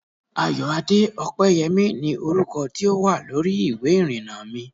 Ayoade Opeyemi ni orúkọ tí ó wà lórí ìwé ìrìnnà mi